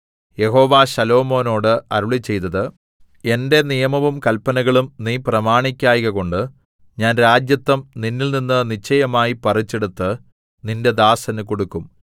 യഹോവ ശലോമോനോട് അരുളിച്ചെയ്തത് എന്റെ നിയമവും കല്പനകളും നീ പ്രമാണിക്കായ്കകൊണ്ട് ഞാൻ രാജത്വം നിന്നിൽനിന്ന് നിശ്ചയമായി പറിച്ചെടുത്ത് നിന്റെ ദാസന് കൊടുക്കും